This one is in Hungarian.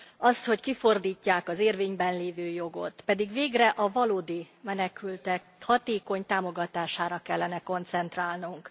Az, hogy kifordítják az érvényben lévő jogot, pedig végre a valódi menekültek hatékony támogatására kellene koncentrálnunk.